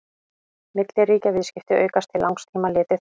milliríkjaviðskipti aukast til langs tíma litið